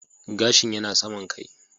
Gashin yana saman kai